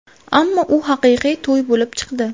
Ammo u haqiqiy to‘y bo‘lib chiqdi.